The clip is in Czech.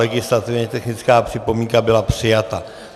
Legislativně technická připomínka byla přijata.